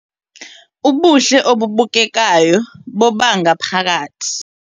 Ubuhle obubukekayo bobangaphakathi